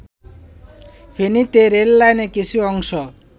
ফেনীতে রেললাইনের কিছু অংশ